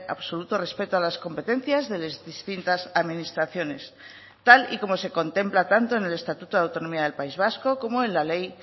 absoluto respeto a las competencias de las distintas administraciones tal y como se contempla tanto en el estatuto de autonomía del país vasco como en la ley